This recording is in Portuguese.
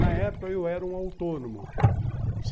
Na época, eu era um autônomo.